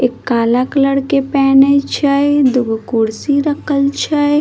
एक काला कलर के पैने छै दुगो कुर्सी रखल छै ।